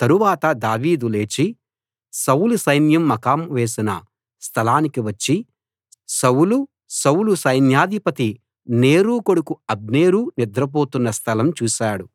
తరువాత దావీదు లేచి సౌలు సైన్యం మకాం వేసిన స్థలానికి వచ్చి సౌలు సౌలు సైన్యాధిపతి నేరు కొడుకు అబ్నేరు నిద్రపోతున్న స్థలం చూశాడు